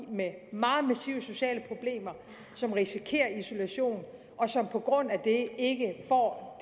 med meget massive sociale problemer som risikerer isolation og som på grund af det ikke får